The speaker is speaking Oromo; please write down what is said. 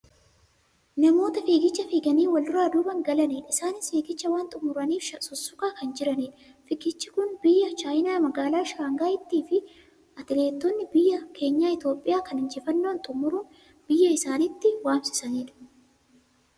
Namoota fiigicha fiiganii walduraa duuban galanidha. Isaanis fiigicha waan xumuuraniif suksukaa kan jiranidha. Fiigichi kun biyya Chaayinaa magaalaa Shaangaayitti atileetonni biyya keenya Itiyoophiyaa kan injifannoon xumuuruun biyya isaanii itti waamsisaniidha.